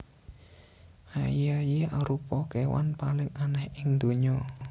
Aye aye arupa kewan paling aneh ing ndonya